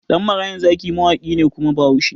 Ɗan marayan zaki mawaƙi ne kuma bahaushe